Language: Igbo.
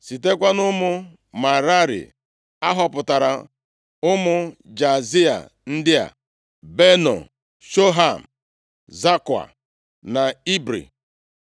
Sitekwa nʼụmụ Merari a họpụtara ụmụ Jaazia ndị a: Beno, Shoham, Zakua na Ibri.